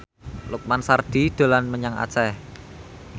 Lukman Sardi dolan menyang Aceh